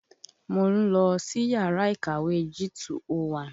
Mò ń lọ sìyárà ìkàwé G201.